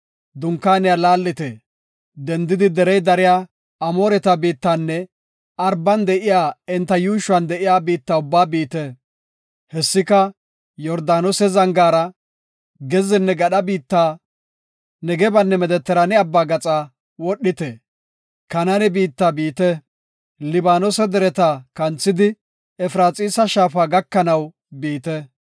Dunkaaniya laallite; dendidi derey dariya Amooreta biittanne Araban de7iya enta yuushuwan de7iya biitta ubbaa biite. Hessika Yordaanose zangaara, gezzenne gadha biitta, Negebanne Medetiraane Abbaa gaxa aadhite. Kanaane biitta biite; Libaanose dereta kanthidi, Efraxiisa Shaafa gakanaw biite.